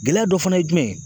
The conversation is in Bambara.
Gɛlɛya dɔ fana ye jumɛn ye